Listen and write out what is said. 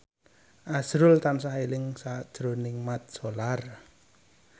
azrul tansah eling sakjroning Mat Solar